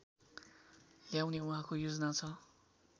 ल्याउने उहाँको योजना छ